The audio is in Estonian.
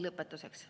Lõpetuseks.